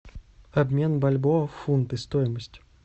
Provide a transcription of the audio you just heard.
обмен бальбоа в фунты стоимость